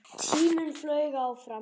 Tíminn flaug áfram.